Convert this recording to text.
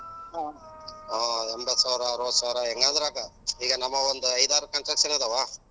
ಆಹ್ಮ್ ಎಂಬತ್ತ್ ಸಾವ್ರ ಅರ್ವತ್ತು ಸಾವ್ರ ನಮ್ಮು ಒಂದ್ ಐದ್ ಆರ್ construction ಅದಾವ.